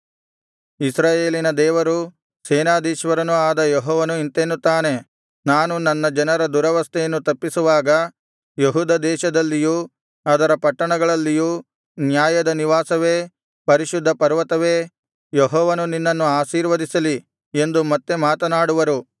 ಇಸ್ರಾಯೇಲಿನ ದೇವರೂ ಸೇನಾಧೀಶ್ವರನೂ ಆದ ಯೆಹೋವನು ಇಂತೆನ್ನುತ್ತಾನೆ ನಾನು ನನ್ನ ಜನರ ದುರವಸ್ಥೆಯನ್ನು ತಪ್ಪಿಸುವಾಗ ಯೆಹೂದ ದೇಶದಲ್ಲಿಯೂ ಅದರ ಪಟ್ಟಣಗಳಲ್ಲಿಯೂ ನ್ಯಾಯದ ನಿವಾಸವೇ ಪರಿಶುದ್ಧ ಪರ್ವತವೇ ಯೆಹೋವನು ನಿನ್ನನ್ನು ಆಶೀರ್ವದಿಸಲಿ ಎಂದು ಮತ್ತೆ ಮಾತನಾಡುವರು